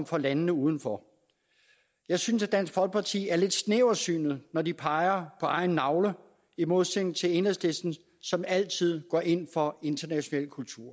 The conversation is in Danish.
for landene udenfor jeg synes at dansk folkeparti er lidt snæversynet når de peger på egen navle i modsætning til enhedslisten som altid går ind for international kultur